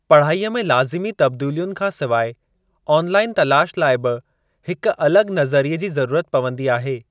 पढ़ाईअ में लाज़िमी तब्दीलियुनि खां सवाइ ऑनलाइन तलाश लाइ बि हिक अलगि॒ नज़रिये जी ज़रूरत पवंदी आहे।